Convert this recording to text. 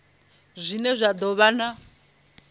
zwine zwa do vha na